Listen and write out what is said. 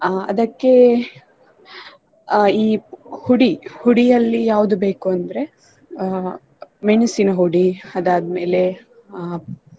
ಅಹ್ ಅದಕ್ಕೆ ಅಹ್ ಈ ಹುಡಿ ಹುಡಿ ಅಲ್ಲಿ ಯಾವುದು ಬೇಕು ಅಂದ್ರೆ ಅಹ್ ಮೆಣಸಿನ ಹುಡಿ ಅದಾದ್ಮೇಲೆ ಅಹ್.